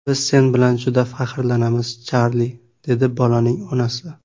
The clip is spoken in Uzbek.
Biz sen bilan juda faxrlanamiz, Charli”, dedi bolaning onasi.